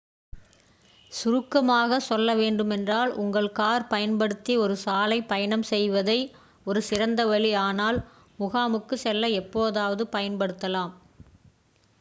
"சுருக்கமாக சொல்ல வேண்டுமென்றால் உங்கள் கார் பயன்படுத்தி ஒரு சாலை பயணம் செய்வது ஒரு சிறந்த வழி ஆனால் "முகாமுக்குச்" செல்ல எப்போதாவது பயன்படுத்தலாம்.